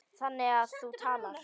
Þannig að þú talar.